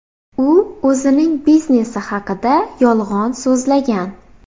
U o‘zining biznesi haqida yolg‘on so‘zlagan.